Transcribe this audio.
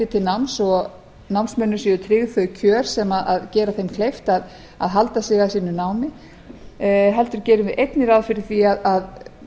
til náms og námsmönnum séu tryggð þau kjör sem gera þeim kleift að halda sig að sínu námi heldur gerir einnig ráð fyrir því að